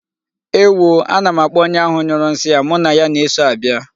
Ewo oo, ana m akpọ onye ahụ nyụrụ nsị a, mụ na ya na-eso abịa!